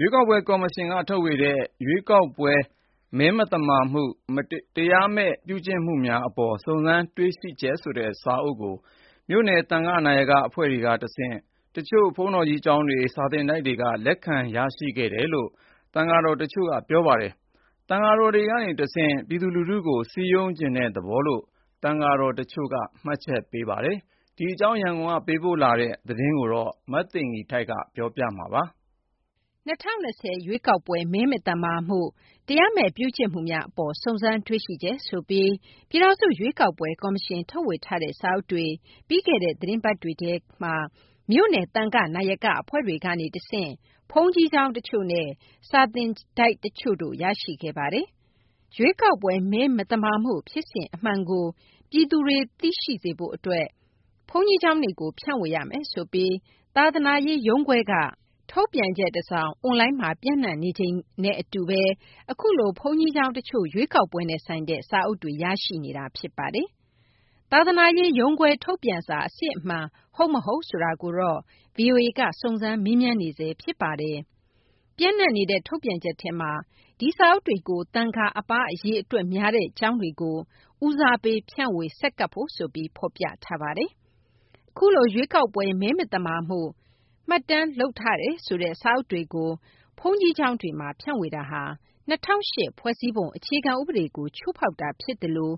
ရွေးကောက်ပွဲကော်မရှင်က ထုတ်ဝေထားတဲ့ ရွေးကောက်ပွဲ မဲမသမာမှု တရားမဲ့ပြုကျင့်မှုများအပေါ် စုံစမ်းစစ်ဆေးတွေ့ရှိချက်ဆိုတဲ့ စာအုပ်တွေကို တချို့ဘုန်းကြီးကျောင်းတွေ၊ စာသင်တိုက်တွေကို မြို့နယ်သံဃနာယက အဖွဲ့တွေကနေတဆင့် ရရှိတယ်လို့ သံဃာတော်တချို့က ပြောပါတယ်။ ရွေးကောက်ပွဲမှာ မတရားလုပ်တယ်လို့ စစ်ကောင်စီက စွပ်စွဲနေတဲ့ ကိစ္စတွေကို သံဃာတွေကတဆင့် ပြည်သူလူထုကို စည်းရုံးစေချင်တဲ့သဘောလို့ သံဃသမဂ္ဂ ဆရာတော်တပါးက မိန့်ပါတယ်။ ဒီသတင်းနဲ့ပတ်သက်လို့ ရန်ကုန်ကလာတဲ့သတင်းကို မသိင်္ဂီထိုက် တင်ပြပေးထားပါတယ်။ ၂၀၂၀ ရွေးကောက်ပွဲ မဲမသမာမှု၊ တရားမဲ့ပြုကျင့်မှုများအပေါ် စုံစမ်းတွေ့ရှိချက်ဆိုပြီး ပြည်ထောင်စုရွေးကောက်ပွဲ ကော်မရှင် ထုတ်ဝေထားတဲ့ စာအုပ်တွေ ပြီးခဲ့တဲ့ သီတင်းပတ်တွေထဲက မြို့နယ် သံဃနာယက အဖွဲ့တွေကနေတဆင့် ဘုန်းကြီးကျောင်းတချို့နဲ့ စာသင်တိုက်တချို့ ရရှိခဲ့ပါတယ်။ ရွေးကောက်ပွဲ မဲမသမာမှု ဖြစ်စဉ်အမှန်ကို ပြည်သူတွေ သိရှိစေဖို့အတွက် ဘုန်းကြီးကျောင်းတွေကို ဖြန့်ဝေရမယ်ဆိုပြီး သာသနာရေးရုံးခွဲက ထုတ်ပြန်ချက်တစောင် အွန်လိုင်းမှာ ပျံ့နှံ့နေချိန်နဲ့အတူ အခုလို ဘုန်းကြီးကျောင်းတချို့ ရွေးကောက်ပွဲနဲ့ဆိုင်တဲ့ စာအုပ်တွေ ရရှိနေတာ ဖြစ်ပါတယ်။ သာသနာရေးရုံးခွဲထုတ်ပြန်စာ အစစ်အမှန် ဟုတ်မဟုတ် ဆိုတာတော့ ဗီအိုအေက စုံစမ်းမေးမြန်းနေဆဲ ဖြစ်ပါတယ်။ ပျံ့နှံ့နေတဲ့ ထုတ်ပြန်ချက်ထဲမှာ ဒီစာအုပ်တွေကို သံဃာအပါး အရေအတွက်များတဲ့ ကျောင်းတွေကို ဦးစားပေး ဖြန့်ဝေဆက်ကပ်ဖို့ဆိုပြီး ဖော်ပြထားပါတယ်။ ခုလို ရွေးကောက်ပွဲ မဲမသမာမှုတွေ မှတ်တမ်းလုပ်ထားတယ်ဆိုတဲ့ စာအုပ်တွေကို ဘုန်းကြီးကျောင်းတွေမှာ ဖြန့်ဝေနေတာဟာ ၂၀၀၈ ဖွဲ့စည်းပုံအခြေခံဥပဒေကို ချိုးဖောက်တာဖြစ်သလို